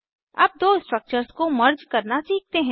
अब दो स्ट्रक्चर्स को मर्ज करना सीखते हैं